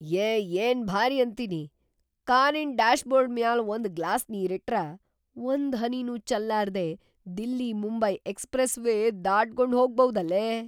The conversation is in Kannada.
ಯೇ ಏನ್‌ ಭಾರಿ ಅಂತೀನಿ! ಕಾರಿನ್ ಡ್ಯಾಶ್ಬೋರ್ಡ್‌ ಮ್ಯಾಲ್ ಒಂದ್ ಗ್ಲಾಸ್ ನೀರಿಟ್ರ ಒಂದ್ ಹನಿನೂ ಚಲ್ಲಾರ್ದೇ ದಿಲ್ಲಿ-ಮುಂಬೈ ಎಕ್ಸ್ಪ್ರೆಸ್ವೇ ದಾಟಗೊಂಡ್ಹೋಗ್ಬೌದಲೇ.